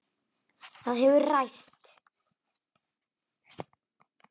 Það hefur ræst.